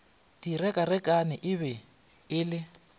direkarekane e be e le